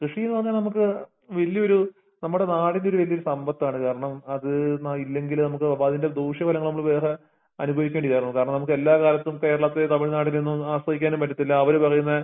കൃഷിനുപറഞ്ഞനമുക്ക് വല്യഒര് നമ്മടെ നാടിന്റയൊരുവല്യഒര് സമ്പത്താണ് കാരണം അത് ഇല്ലെങ്കിലോ നമുക്ക് അപ്പോതിന്റ ദൂഷ്യബലങ്ങള് നമ്മള് വേറെ അനുഭവിക്കേണ്ടിവരു കാരണനമുക്കെല്ലാക്കാലത്തും കേരളത്തെ തമിഴ്നാടിനെന്നും ആസ്വധികാനും പറ്റത്തില്ല അവര് പറയുന്നെ